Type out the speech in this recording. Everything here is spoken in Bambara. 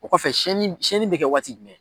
O kɔfɛ siyɛnni siyɛnni bɛ kɛ waati jumɛn?